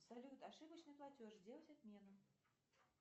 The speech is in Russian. салют ошибочный платеж сделать отмену